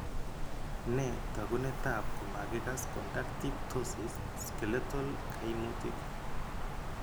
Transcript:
Nee taakunetaab komakikass conductive ptosis skeletal kaimutik?